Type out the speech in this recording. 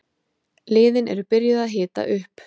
Liðin eru byrjuð að hita upp.